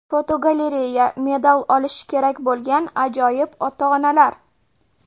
Fotogalereya: Medal olishi kerak bo‘lgan ajoyib ota-onalar.